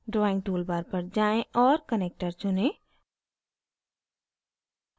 drawing toolbar पर जाएँ और connector चुनें